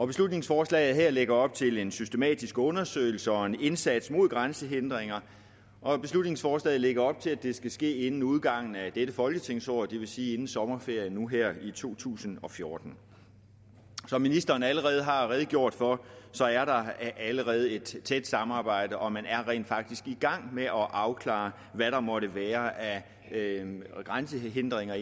beslutningsforslaget her lægger op til en systematisk undersøgelse og en indsats mod grænsehindringer og beslutningsforslaget lægger op til at det skal ske inden udgangen af dette folketingsår det vil sige inden sommerferien nu her i to tusind og fjorten som ministeren allerede har redegjort for er der allerede et tæt samarbejde og man er rent faktisk i gang med at afklare hvad der måtte være af grænsehindringer